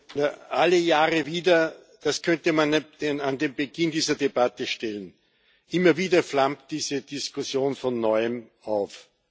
Herr Präsident! Alle Jahre wieder das könnte man an den Beginn dieser Debatte stellen. Immer wieder flammt diese Diskussion von Neuem auf.